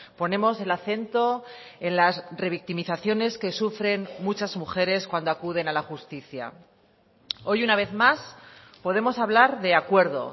ponemos el acento en las revictimizaciones que sufren muchas mujeres cuando acuden a la justicia hoy una vez más podemos hablar de acuerdo